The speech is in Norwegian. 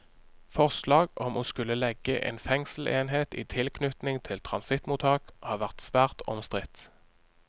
Forslag om å skulle legge en fengselsenhet i tilknytning til transittmottak har vært svært omstridt.